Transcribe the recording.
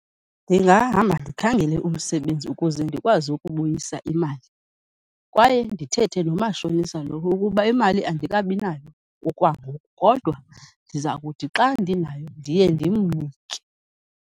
Ndingahamba ndikhangele umsebenzi ukuze ndikwazi ukubuyisa imali. Kwaye ndithethe nomashonisa lo ukuba imali andikabinayo okwangoku. Kodwa ndiza kuthi xa ndinayo, ndiye ndimnike.